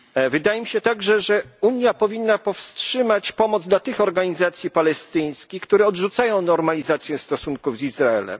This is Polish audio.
Wydaje mi się także, że Unia powinna powstrzymać pomoc dla tych organizacji palestyńskich, które odrzucają normalizację stosunków z Izraelem.